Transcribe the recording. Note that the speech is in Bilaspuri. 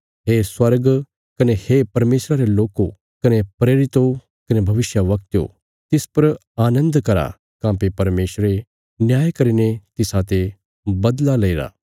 हे स्वर्ग कने हे परमेशरा रे लोको कने प्रेरितो कने भविष्यवक्तयो तिस पर आनन्द करा काँह्भई परमेशरे न्याय करीने तिसाते बदला लेईरा